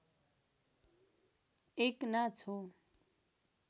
एक नाच हो